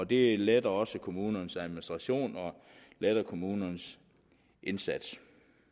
det letter også kommunernes administration og letter kommunernes indsats